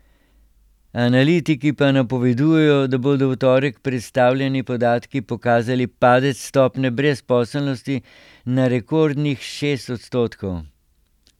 Analitiki pa napovedujejo, da bodo v torek predstavljeni podatki pokazali padec stopnje brezposelnosti na rekordnih šest odstotkov.